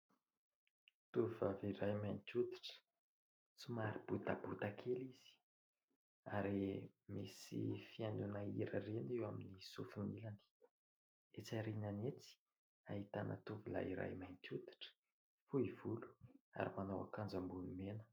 Tovovavy iray mainty hoditra somary botabota kely izy ary misy fihainoana hira ireny eo amin'ny sofiny ilany, etsy aoriany etsy ahitana tovolahy iray mainty hoditra fohy volo ary manao akanjo ambony mena.